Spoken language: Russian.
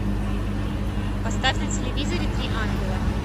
поставь на телевизоре три ангела